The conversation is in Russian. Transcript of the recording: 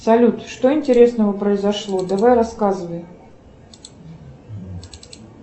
салют что интересного произошло давай рассказывай